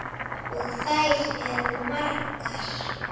Og þær eru margar.